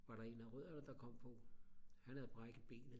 var der en af rødderne der kom på han havde brækket benet